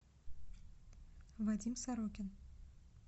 вадим сорокин